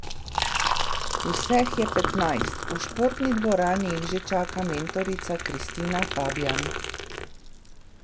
Vseh je petnajst, v športni dvorani jih že čaka mentorica Kristina Fabijan.